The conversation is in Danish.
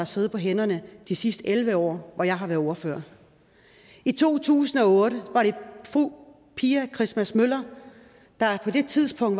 siddet på hænderne de sidste elleve år hvor jeg har været ordfører i to tusind og otte var det fru pia christmas møller der på det tidspunkt